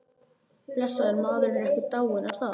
Blessaður maðurinn, hann er ekki dáinn er það?